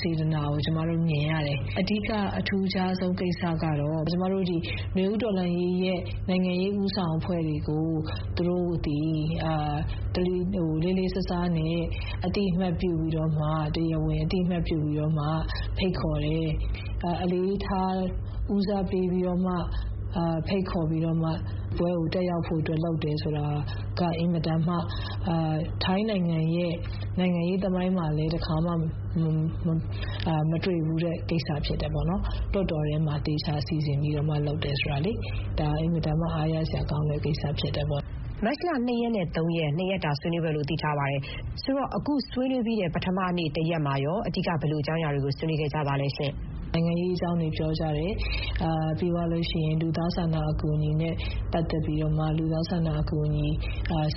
စေတနာကို ကျမတို့ မြင်ရတယ်။ အဓိက အထူးခြားဆုံး ကိစ္စကတော့ နွေဦးတော်လှန်ရေးရဲ့ နိုင်ငံရေး ဦးဆောင်အဖွဲ့တွေကို လေးလေးစားစားနဲ့ သူတို့ အသိအမှတ်ပြုပြီးတော့မှ ၊ တရားဝင် အသိအမှတ်ပြုပြီးတော့မှ ဖိတ်ခေါ်တယ် အလေးထားဦးစားပေးပြီးတော့မှ ဒီပွဲကို တက်ရောက်ဖို့ လုပ်လာတယ်ဆိုတာက ထိုင်းနိုင်ငံရဲ့ နိုင်ငံရေးသမိုင်းမှာလည်း တခါမှ မတွေ့ဖူးတဲ့ကိစ္စရပ်ဖြစ်တယ်။ ဒီလို လွှတ်တော်တွင်းမှာ သေချာစီစဥ်ပြီး လုပ်တယ်ဆိုတဲ့ ကိစ္စကတော့ ဒါအင်မတန်မှ အားရစရာကောင်းတဲ့ ကိစ္စဖြစ်တယ်ပေါ့။ မခင်ဖြူထွေး ။ ။ မတ်လ ၂ ရက်နဲ့ ၃ ရက် နှစ်ရက်တာ ဆွေးနွေးပွဲလို့ သိထားပါတယ်။ ဆိုတော့ အခု ဆွေးနွေးပြီးတဲ့ ပထမနေ့ တရက်မှာရော အဓိက ဘယ်လို အကြောင်းအရာတွေ ဆွေးနွေးခဲ့ကြပါလဲ။ ဒေါ်ခင်ဥမ္မာ ။ ။ နိုင်ငံရေး အကြောင်းတွေ ပြောကြတယ်။ ပြီးတော့ လူသားချင်းစာနာတဲ့ အကူအညီနဲ့ ပတ်သက်ပြီးမှ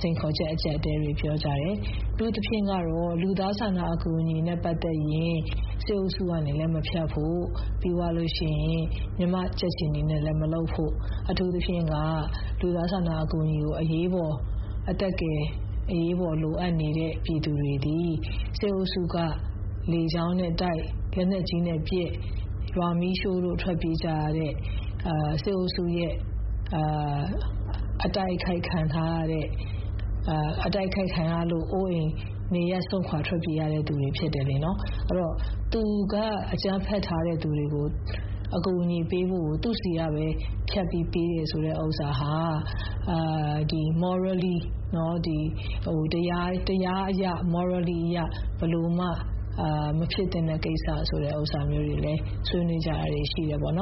စိန်ခေါ်ချက် အကျပ်အတည်းတွေ ပြောကြတယ်။ အထူးသဖြင့်ကတော့ လူသားချင်းစာနာနဲ့ အကူညီနဲ့ ပတ်သက်ရင် စစ်အုပ်စု လက်ထဲကနေ မဖြတ်ဖို့၊ ပြီးသွားလို့ရှိရင် မြန်မာ့ကြက်ခြေနီနဲ့လည်း မလုပ်ဖို့ ၊ ပြီးရင် ခုလို အရေးပေါ် အသက်ကယ် လိုအပ်နေတဲ့ ပြည်သူတွေဆိုတာက စစ်အုပ်စုက ရွာတွေကိုမီးရှို့ ၊ လက်နက်ကြီးနဲ့ပစ် ၊ လေကြောင်းကနေ ဗုံးကြဲ.. ဒီလို စစ်အုပ်ရဲ့ အတိုက်ခိုက် ခံထားရလို့ အိုးအိမ်စွန့်ခွာ ထွက်ပြေးတိမ်းရှောင်လာတဲ့သူတွေ ဖြစ်တယ်လေ နော်။ အဲဒီတော့ သူက အကြမ်းဖက်ထားတဲ့သူတွေကို သူ့ဆီကပဲဖြတ်ပြီး အကူအညီပေးတယ် ဆိုတာဟာ တရားမျှတမှုအရရော ၊ morally ကျင့်ဝတ်သိက္ခာအရရော မဖြစ်သင့်ဘူးဆိုတာမျိုးကိုလည်း ဆွေးနွေးကြတာတွေ ရှိပါတယ်။ မခင်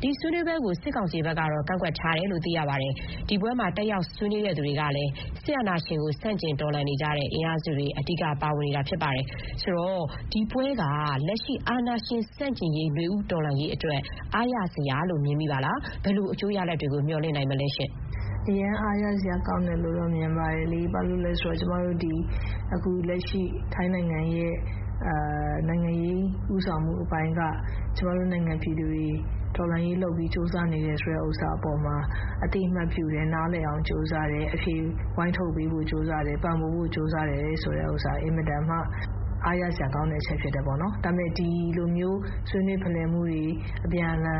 ဖြူထွေး ။ ။ ဒီဆွေးနွေးပွဲကို စစ်ကောင်စီဘက်ကတော့ ကန့်ကွက်ထားတယ်လို့ သိရပါတယ်။ ဒီပွဲမှာ တက်ရောက် ဆွေးနွေးသူတွေကလည်း စစ်အာဏာရှင်ကို ဆန့်ကျင်တော်လှန်နေတဲ့ အင်အားစုတွေ အဓိကပါဝင်နေတာဖြစ်ပါတယ်။ ဆိုတော့ ဒီပွဲက လက်ရှိ အာဏာရှင်ဆန့်ကျင်ရေး နွေဦးတော်လှန်ရေးအတွက် အားရစရာလို့ မြင်မိပါလား။ ဘယ်လို အကျိုးရလဒ်တွေ မျှော်လင့်နိုင်မလဲရှင့်။ ဒေါ်ခင်ဥမ္မာ ။ ။ အရမ်း အားရစရာကောင်းတယ်လို့တော့ မြင်ပါတယ်လေ။ ဘာလို့လဲဆိုတော့ ကျမတို့ဒီ ထိုင်းနိုင်ငံရဲ့ နိုင်ငံရေး ဦးဆောင်မှုအပိုင်းက ကျမတို့နိုင်ငံပြည်သူတွေ တော်လှန်ရေးဆင်နွှဲပြီး ကြိုးစားနေတယ်ဆိုတဲ့ အပေါ်မှာ အသိအမှတ်ပြုလာတယ်၊ နားလည်အောင် ကြိုးစားတယ်။ အဖြေ ဝိုင်းထုတ်ဖို့ကြိုးစားတယ် ၊ ပံ့ပိုးဖို့ ကြိုးစားတယ် ဆိုတဲ့ဥစ္စာက အင်မတန်မှ အားရစရာကောင်းတဲ့အချက် ဖြစ်တယ်ပေါ့နော်။ ဒါပေမဲ့ ဒီလိုမျိုး ဆွေးနွေးဖလှယ်မှုတွေ အကြံဥာ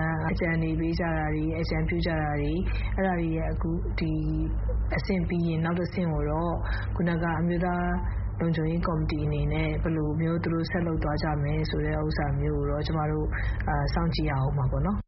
ဏ်ပေးကြတာတွေ.. အဲဒါတွေက ဒီအဆင့်ပြီးသွားလို့ နောက်တဆင့်ကျရင်တော့ ထိုင်းအမျိုးသား လုံခြုံရေးကော်မတီအနေနဲ့ ဘယ်လိုမျိုး ဆက်လုပ်သွားကြမလဲ ဆိုတာကိုတော့ ကျမတို့ စောင့်ကြည့်ရဦးမှာပေါ့နော်။